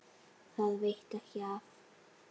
Það veitti ekki af.